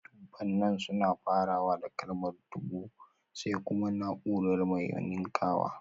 Dubunnan suna farawa da kalmar dubu (dubu), sai kuma naúrar mai ninkawa